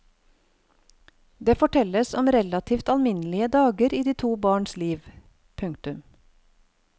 Det fortelles om relativt alminnelige dager i to barns liv. punktum